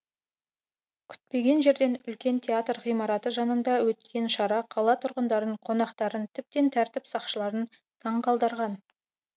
күтпеген жерден үлкен театр ғимараты жанында өткен шара қала тұрғындарын қонақтарын тіптен тәртіп сақшыларын таңқалдырған